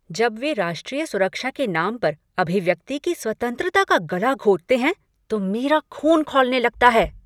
जब वे राष्ट्रीय सुरक्षा के नाम पर अभिव्यक्ति की स्वतंत्रता का गला घोंटते हैं तो मेरा ख़ून खौलने लगता है।